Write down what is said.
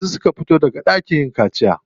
Yanzu suka fito daga ɗakin yin kaciya.